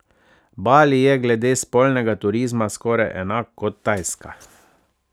Bali je glede spolnega turizma skoraj enak kot Tajska.